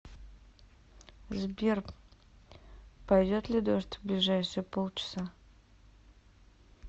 сбер пойдет ли дождь в ближайшие пол часа